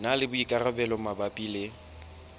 na le boikarabelo mabapi le